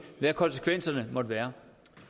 hvad konsekvenserne ville være